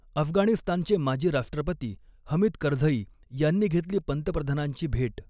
अफगाणिस्तानचे माजी राष्ट्रपती हमीद करझई यांनी घेतली पंतप्रधानांची भेट